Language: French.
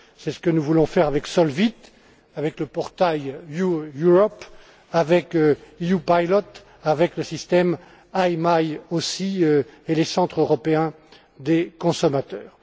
C'est ce que nous voulons faire avec SOLVIT, avec le portail Your Europe, avec EU Pilot, avec le système IMI aussi et les Centres européens des consommateurs.